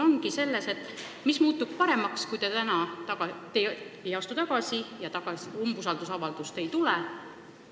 Minu küsimus ongi: mis muutub paremaks, kui te täna ei astu tagasi ja umbusaldusavaldus läbi ei lähe?